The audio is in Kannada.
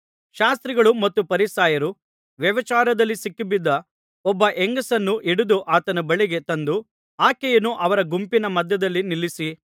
ಶಾಸ್ತ್ರಿಗಳೂ ಮತ್ತು ಫರಿಸಾಯರೂ ವ್ಯಭಿಚಾರದಲ್ಲಿ ಸಿಕ್ಕಿಬಿದ್ದ ಒಬ್ಬ ಹೆಂಗಸನ್ನು ಹಿಡಿದು ಆತನ ಬಳಿಗೆ ತಂದು ಆಕೆಯನ್ನು ಅವರ ಗುಂಪಿನ ಮಧ್ಯದಲ್ಲಿ ನಿಲ್ಲಿಸಿ